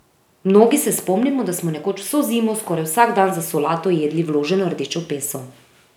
Mnogi se spomnimo, da smo nekoč vso zimo skoraj vsak dan za solato jedli vloženo rdečo peso.